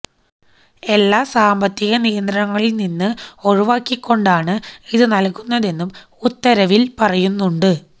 എല്ലാ സാമ്പത്തിക നിയന്ത്രണങ്ങളില്നിന്ന് ഒഴിവാക്കിക്കൊണ്ടാണ് ഇത് നല്കുന്നതെന്നും ഉത്തരവില് പറയുന്നുണ്ട്